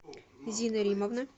зины римовны